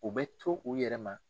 U bɛ to u yɛrɛ ma.